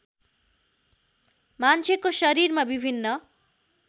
मान्छेको शरीरमा विभिन्न